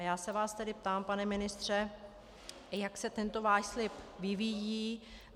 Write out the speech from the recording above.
A já se vás tedy ptám, pane ministře, jak se tento váš slib vyvíjí.